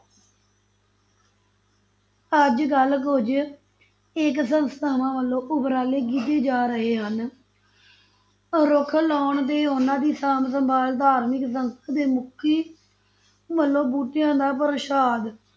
ਅੱਜ ਕੱਲ੍ਹ ਕੁੱਝ ਇੱਕ ਸੰਸਥਾਵਾਂ ਵੱਲੋਂ ਉਪਰਾਲੇ ਕੀਤੇ ਜਾ ਰਹੇ ਹਨ ਰੁੱਖ ਲਾਉਣ ਦੀ, ਉਹਨਾਂ ਦੀ ਸਾਂਭ ਸੰਭਾਲ, ਧਾਰਮਿਕ ਸੰਸਥਾ ਦੇ ਮੁੱਖੀ ਮਤਲਬ ਬੂਟਿਆਂ ਦਾ ਪ੍ਰਸਾਦ